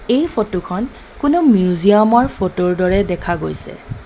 এই ফটো খন কোনো মিউজিয়াম ৰ ফটো ৰ দৰে দেখা গৈছে.